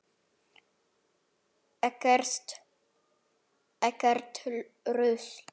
Ekkert rusl.